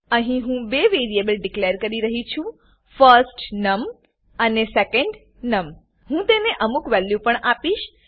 અહી હું બે વેરીએબલ ડીકલેર કી રહી છુંfirstNum અને સેકન્ડનમ હું તેને અમુક વેલ્યુ પણ આપીશ